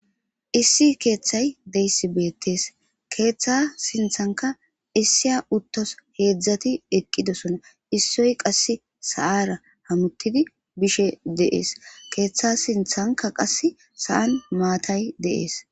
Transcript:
Issi keeththay deyssi beettees keeththa sinthanka issiya uttos heedzdzati eqqidosona issoy qasse sa7ara hamuttidi bishe deees keeththa sinthanka qass sa7an maatay deees